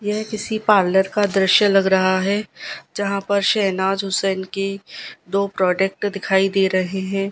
यह किसी पार्लर का दृश्य लग रहा है जहां पर शहनाज हुसैन की दो प्रोडक्ट दिखाई दे रहे हैं।